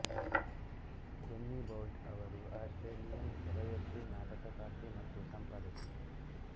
Jenny Boult ಅವರು Australian ಕವಯತ್ರಿ ನಾಟಕಕಾರ್ತಿ ಮತ್ತು ಸಂಪಾದಕಿ